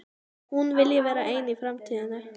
Hún vilji vera ein í framtíðinni.